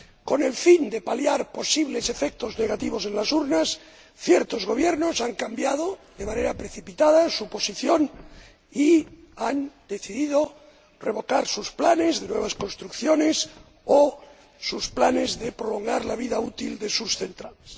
Con el fin de paliar posibles efectos negativos en las urnas, ciertos gobiernos han cambiado de manera precipitada su posición y han decidido revocar sus planes de nuevas construcciones o sus planes de prolongar la vida útil de sus centrales.